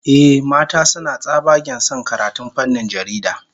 Ehh, mata suna tsabagen son karatun fannin jarida